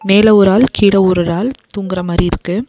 மேல ஒராள் கீழ ஒரொரு ஆள் தூங்கற மாரி இருக்கு.